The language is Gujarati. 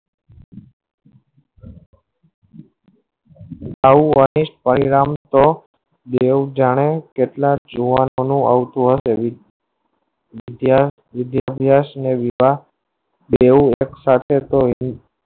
આવું Honest પરિણામ તો બેઉ જાણે કેટલાક જોવાનું આવતું હશે વિદ્યાઅભ્યાસ અને વિવાહ બેઉ એક સાથે તો